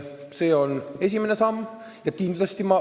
See on esimene samm.